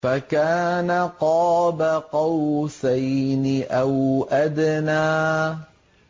فَكَانَ قَابَ قَوْسَيْنِ أَوْ أَدْنَىٰ